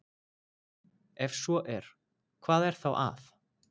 Ef svo er, hvað er þá að?